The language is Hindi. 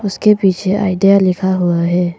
उसके पीछे आईडिया लिखा हुआ है।